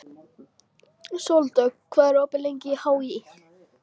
Sóldögg, hvað er opið lengi í HÍ?